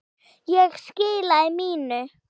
Ég skilaði mínu.